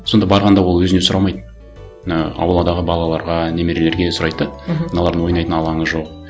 сонда барғанда ол өзіне сұрамайды і ауладағы балаларға немерелерге сұрайды да мхм мыналардың ойнайтын алаңы жоқ